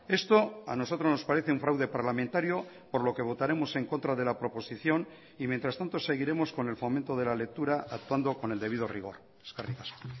esto a nosotros nos parece un fraude parlamentario por lo que votaremos en contra de la proposición y mientras tanto seguiremos con el fomento de la lectura actuando con el debido rigor eskerrik asko